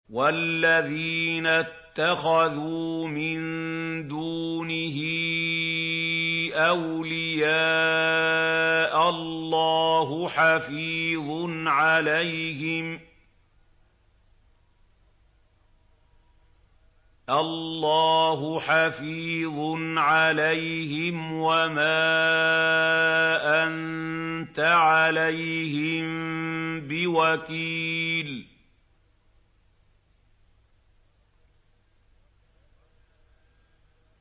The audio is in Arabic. وَالَّذِينَ اتَّخَذُوا مِن دُونِهِ أَوْلِيَاءَ اللَّهُ حَفِيظٌ عَلَيْهِمْ وَمَا أَنتَ عَلَيْهِم بِوَكِيلٍ